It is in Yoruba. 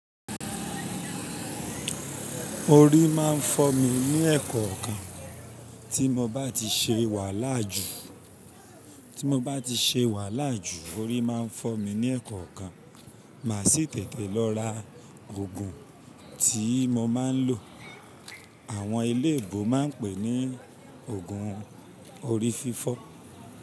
Orí máa ń fọ́ mi ní èkọ̀ọ̀kan tí mo bá ti ṣe wàhálà jù, tí mo bá ti ṣe wàhálà jù orí máa ń fọ́ mi ní èkọ̀ọ̀kan. Màá sì tètè lọ ra òògùn tí mo máa ń lò. Àwọn eléebò máa ń pè é ní òògùn orí fífọ́.